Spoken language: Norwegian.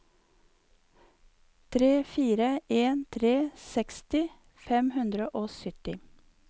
tre fire en tre seksti fem hundre og sytti